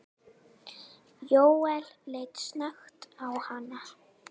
Jóel leit snöggt á hana.